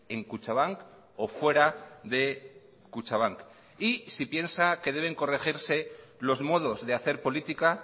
en kutxabank o fuera de kutxabank y si piensa que deben corregirse los modos de hacer política